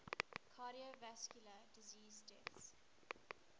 cardiovascular disease deaths